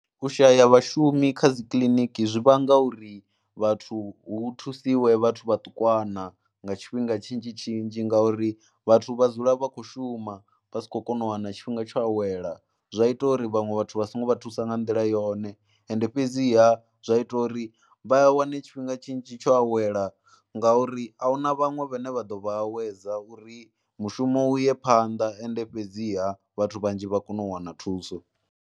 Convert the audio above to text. U shaya vhashumi kha dzi kiliniki zwi vhanga uri vhathu hu thusiwe vhathu vhaṱukwana nga tshifhinga tshinzhi tshinzhi ngauri vhathu vha dzula vha kho shuma vha si khou kona u wana tshifhinga tsho awela. Zwa ita uri vhaṅwe vhathu vha songo vha thusa nga nḓila yone, ende fhedziha zwa ita uri vha a wane tshifhinga tshinzhi tsho awela ngauri a hu na vhaṅwe vhane vha ḓo vha awedza uri mushumo u ye phanḓa ende fhedziha vhathu vhanzhi vha kone u wana thuso.